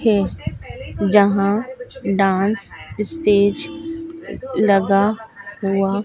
है जहां dance stage लगा हुआ--